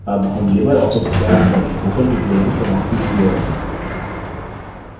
अब हम LibreOffice calc पर spoken tutorial की समाप्ति की ओर हैं